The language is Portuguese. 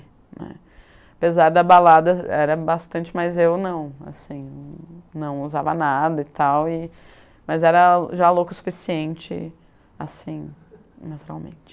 né. Apesar da balada, era bastante, mas eu não, assim, não usava nada e tal, e mas era já louco o suficiente, assim, naturalmente.